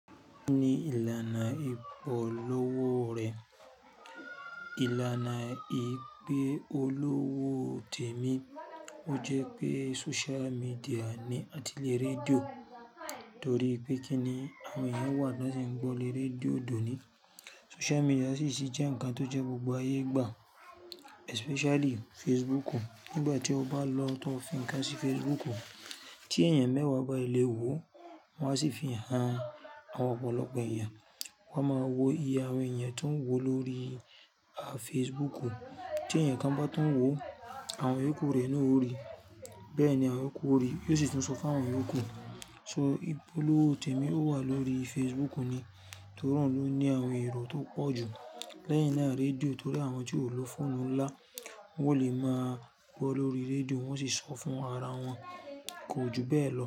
Kí ni ìlànà ìpolówó rẹ̀? Ìlànà ìpe olówó Tèmí, ó jẹ́ pé social media ní àtilẹ̀ rédíò. Torí pé kí ni àwọn èèyàn wà lọ́sẹ̀ gbọ́ lé radíò dòní. Social media sì ṣì jẹ́ ǹkan tó jẹ́ gbogbo ayé gbà, especially Facebook. Nígbà tí o bá lọ tó fi ǹkan sí Facebook, tí èèyàn mẹ́wàá bá léwó, wọn á sì fi hàn àwọn ọ̀pọ̀lọpọ̀ èèyàn. Wọ́n máa wo iye àwọn èèyàn tó ń wò ó lórí Facebook. Tí èèyàn kan bá tún wò ó, àwọn òkú rẹ̀ náà ó rí i. Bẹ́ẹ̀ ni àwọn òkú ó rí i, yóò sì tún sọ fún àwọn iyoòkú. So ìpolówó Tèmí ó wà lórí Facebook ni, torí òun ló ní àwọn èrò tó pọ̀ jù lẹ́yìn naa radíò. Torí àwọn tí ò ló fóònù ńlá, wọ́n ò lè máa gbọ́ lórí redíò, wọ́n sì ṣọ fún ara wọn. Ko ju bẹ́ẹ̀ lọ.